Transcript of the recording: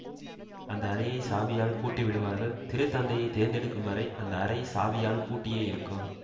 அந்த அறையைச் சாவியால் பூட்டிவிடுவார்கள் திரு தந்தையை தேர்ந்தெடுக்கும் வரை அந்த அறை சாவியால் பூட்டியே இருக்கும்